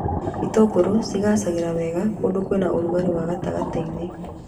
Itũngũrũ cigaacagĩra wega kũndũ kwĩna rũgarĩ wa gatagatĩ-inĩ